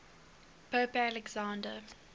pope alexander